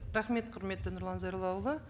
рахмет құрметті нұрлан зайроллаұлы